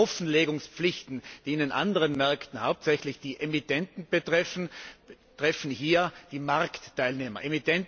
Die Offenlegungspflichten, die in den anderen Märkten hauptsächlich die Emittenten betreffen, treffen hier die Marktteilnehmer.